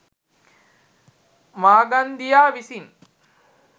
මාගන්දියා විසින්